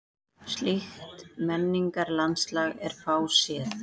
Slíkt menningarlandslag er fáséð.